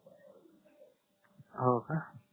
हो का